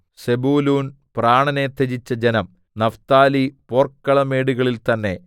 സെബൂലൂൻ പ്രാണനെ ത്യജിച്ച ജനം നഫ്താലി പോർക്കളമേടുകളിൽ തന്നേ